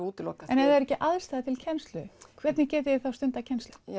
útilokað en af það eru ekki aðstæður til kennslu hvernig getið þið stundað kennslu